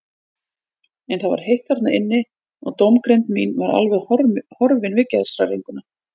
En það var heitt þarna inni og dómgreind mín var alveg horfin við geðshræringuna.